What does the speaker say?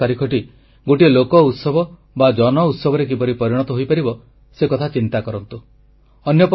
August 15 ତାରିଖଟି ଗୋଟିଏ ଲୋକ ଉତ୍ସବ ବା ଜନ ଉତ୍ସବରେ କିପରି ପରିଣତ ହୋଇପାରିବ ସେ କଥା ଚିନ୍ତା କରନ୍ତୁ